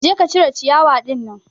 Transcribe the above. Je ka cire ciyawa ɗinnan